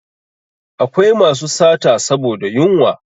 Akwai masu sata saboda yunwa